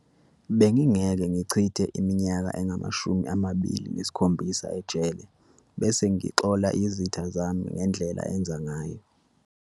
Bengingeke ngichithe iminyaka engamashumi amabili neskhombisa ejele bese ngixola izitha zami ngendlela enza ngayo.